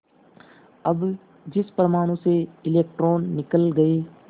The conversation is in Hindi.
अब जिस परमाणु से इलेक्ट्रॉन निकल गए